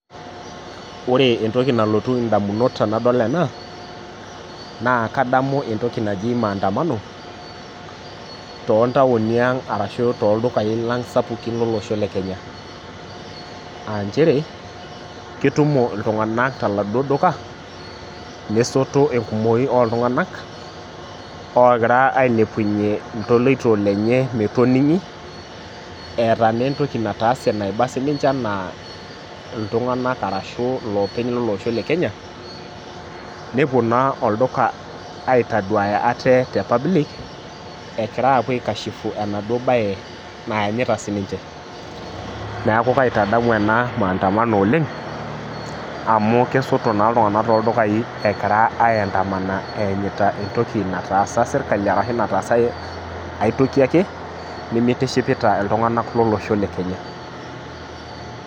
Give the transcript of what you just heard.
Ore entoki nalotu ndamunot tanadol ena na kadamu enoshi entokinaji maandamano tontauni aang ashu toldukai Lang sapukin lolosho lekenya aanchere ketumo ltunganak toladuo duka nesoto enkumoi oltunganak ogira ailepunye ltoloto lenye metoningi eeta na entoki nataase naiba ninche ana ltunganak arashu loopeny lolosho le kenya nepuobna olduka aitaduaya aate te public egira apuo aikashifu enaduo bae naanyita sininche neaku kaitadamu ena maandamano oleng amu kesoto na ltunganak toldukai egira aidanama eanyita entokibnatasaa serkali ashu nataasa aitoki ake nimitishipita ltunganak lolosho le kenya.